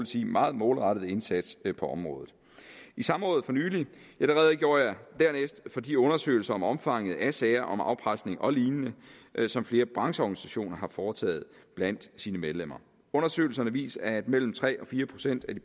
sige meget målrettede indsats på området i samrådet for nylig redegjorde jeg dernæst for de undersøgelser om omfanget af sager om afpresning og lignende som flere brancheorganisationer har foretaget blandt sine medlemmer undersøgelserne viste at mellem tre og fire procent af de